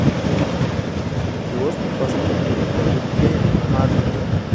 киоск фастфудной продукции адрес